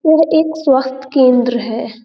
यह एक स्वास्थ केंद्र है।